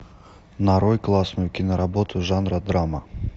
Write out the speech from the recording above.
нарой классную киноработу жанра драма